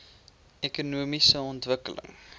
ekonomiese ontwikkeling